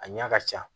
A ɲa ka ca